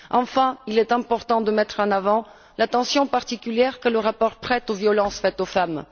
Enfin, il est important de mettre en avant l'attention particulière que le rapport prête aux violences faites aux femmes.